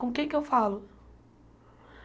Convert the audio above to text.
Com quem que eu falo?